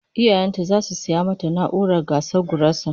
Iyayen ta zasu saya mata na'urar gasa gurasa